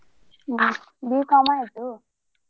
ಹ್ಮ್ B.Com ಆಯ್ತು.